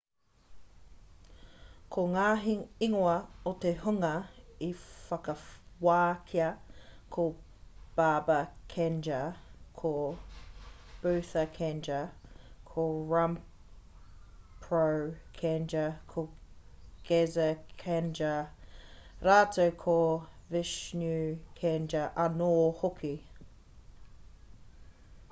ko ngā ingoa o te hunga i whakawākia ko baba kanjar ko bhutha kanjar ko rampro kanjar ko gaza kanjar rātou ko vishnu kanjar anō hoki